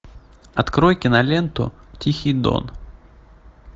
открой киноленту тихий дон